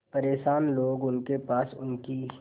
परेशान लोग उनके पास उनकी